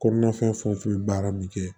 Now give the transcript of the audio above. Kɔnɔna fɛn fɛn bɛ baara min kɛ